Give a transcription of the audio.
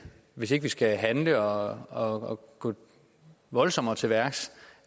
hvis ikke vi skal handle og og gå voldsommere til værks